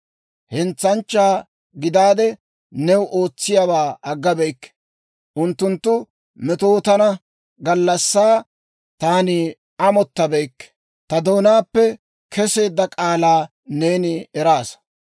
Hentsaanchchaa gidaadde New ootsiyaawaa aggabeykke; unttunttu metootana gallassaa taani amottabeykke. Ta doonaappe keseedda k'aalaa neeni eraasa.